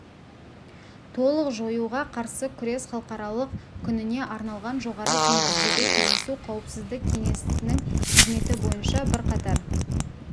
толық жоюға қарсы күрес халықаралық күніне арналған жоғары деңгейдегі кездесу қауіпсіздік кеңесінің қызметі бойынша бірқатар